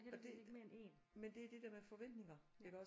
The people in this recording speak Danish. Og det men det er det der med forventninger iggås